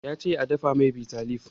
Ya ce a dafa mai bitter leave.